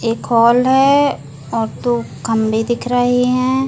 एक हॉल है और तू कम भी दिख रही है ।